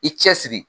I cɛsiri